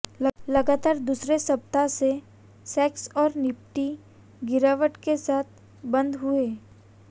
लगातार दूसरे सप्ताह सेंसेक्स और निफ्टी गिरावट के साथ बंद हुए